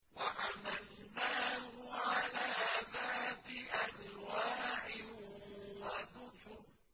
وَحَمَلْنَاهُ عَلَىٰ ذَاتِ أَلْوَاحٍ وَدُسُرٍ